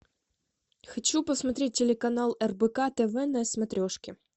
хочу посмотреть телеканал рбк тв на смотрешке